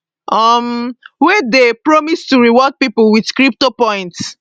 um wey dey promise to reward pipo wit crypto points